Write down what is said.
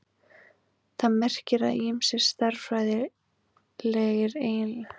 Það merkir að ýmsir stærðfræðilegir eiginleikar dreifingarinnar eru þekktir.